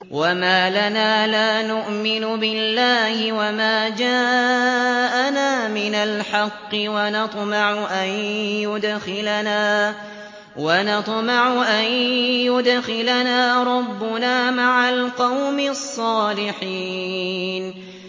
وَمَا لَنَا لَا نُؤْمِنُ بِاللَّهِ وَمَا جَاءَنَا مِنَ الْحَقِّ وَنَطْمَعُ أَن يُدْخِلَنَا رَبُّنَا مَعَ الْقَوْمِ الصَّالِحِينَ